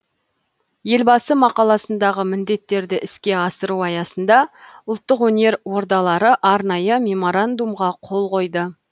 елбасы мақаласындағы міндеттерді іске асыру аясында ұлттық өнер ордалары арнайы меморандумға қол қойды